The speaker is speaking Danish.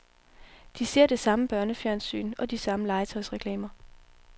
De ser det samme børnefjernsyn, og de samme legetøjsreklamer.